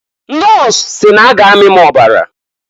Nọs si n'a ga amị m ọbara.